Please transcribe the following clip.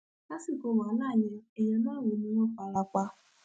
lásìkò wàhálà yẹn èèyàn márùnún ni wọn fara pa